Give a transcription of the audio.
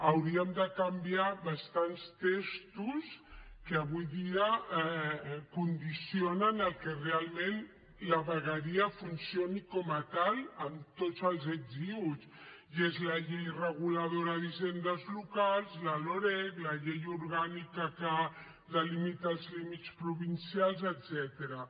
hauríem de canviar bastants textos que avui dia condicionen el que realment la vegueria funcioni com a tal amb tots els ets i uts i és la llei reguladora d’hisendes locals la loreg la llei orgànica que delimita els límits provincials etcètera